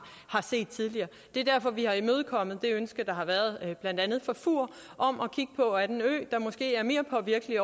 set det er derfor at vi har imødekommet det ønske der har været blandt andet fra fur om at kigge på at en ø måske er mere påvirket